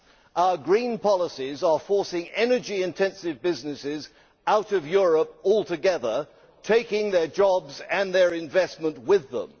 Our green policies are forcing energy intensive business out of Europe altogether, taking their jobs and their investment with them.